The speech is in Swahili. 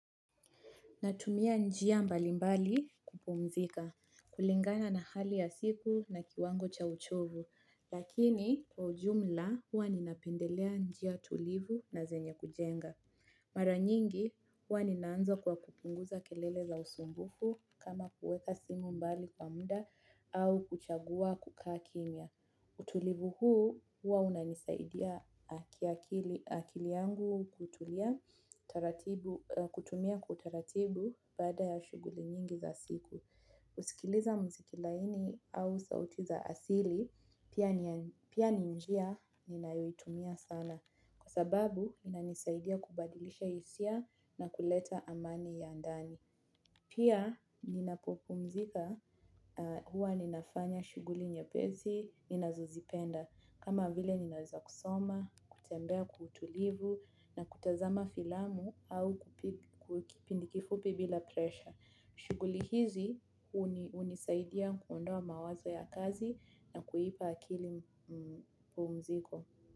Natumia njia mbali mbali kupumzika kulingana na hali ya siku na kiwango cha uchovu lakini kwa ujumla huwa ninapendelea njia tulivu na zenye kujenga. Mara nyingi huwa ninaanza kwa kupunguza kelele za usumbufu kama kuweka simu mbali kwa muda au kuchaguwa kukaa kimya. Utulivu huu huwa unanisaidia, kiakili, akili yangu kutulia taratibu, kutumia kwa utaratibu baada ya shughuli nyingi za siku. Husikiliza muziki laini au sauti za asili pia ni njia ninayoitumia sana kwa sababu inanisaidia kubadilisha hisia na kuleta amani ya ndani. Pia ninapopumzika huwa ninafanya shughuli nyepesi, ninazozipenda kama vile ninaweza kusoma, kutembea kwa utulivu na kutazama filamu au kipindi kifupi bila presha. Shughuli hizi hunisaidia kuondoa mawazo ya kazi na kuipa akili pumziko.